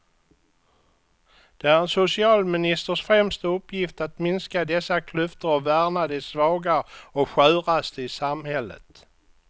Det är en socialministers främsta uppgift att minska dessa klyftor och värna de svaga och sköraste i samhället.